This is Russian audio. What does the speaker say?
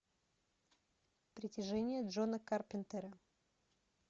притяжение джона карпентера